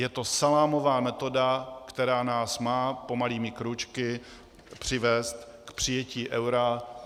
Je to salámová metoda, která nás má pomalými krůčky přivést k přijetí eura.